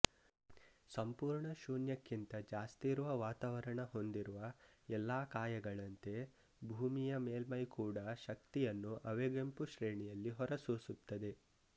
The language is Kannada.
ಸಂಪೂರ್ಣ ಶೂನ್ಯಕ್ಕಿಂತ ಜಾಸ್ತಿಯಿರುವ ವಾತಾವರಣ ಹೊಂದಿರುವ ಎಲ್ಲ ಕಾಯಗಳಂತೆ ಭೂಮಿಯ ಮೇಲ್ಮೈ ಕೂಡಾ ಶಕ್ತಿಯನ್ನು ಅವಗೆಂಪು ಶ್ರೇಣಿಯಲ್ಲಿ ಹೊರಸೂಸುತ್ತದೆ